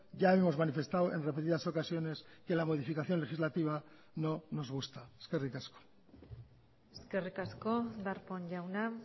ya hemos manifestado en repetidas ocasiones que la modificación legislativa no nos gusta eskerrik asko eskerrik asko darpón jauna